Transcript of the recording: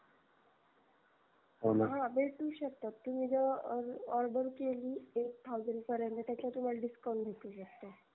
हो भेटू शकतो तुम्ही जर order केली एक thousand पर्यन्त त्याचत तुम्हाला discount भेटू शकतो